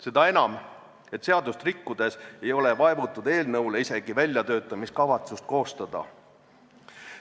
Seda enam, et seadust rikkudes ei ole vaevutud eelnõu kohta isegi väljatöötamiskavatsust koostama.